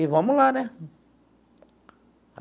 E vamos lá, né?